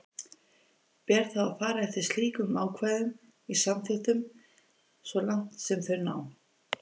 Ber þá að fara eftir slíkum ákvæðum í samþykktunum svo langt sem þau ná.